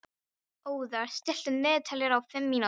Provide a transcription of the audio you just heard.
Othar, stilltu niðurteljara á fimm mínútur.